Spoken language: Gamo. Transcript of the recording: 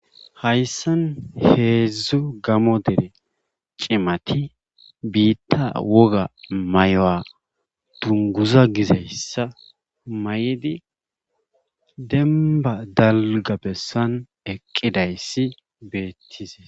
hayssan heedzdzu gamo dere cimati biitta woga may7oa dunguza gizayssa may7di demba dalga bessan eqqidayssi beettize